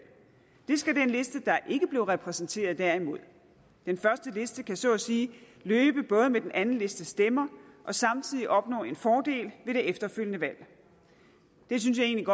det skal den liste der ikke blev repræsenteret derimod den første liste kan så at sige løbe både med den anden listes stemmer og samtidig opnå en fordel ved det efterfølgende valg det synes jeg egentlig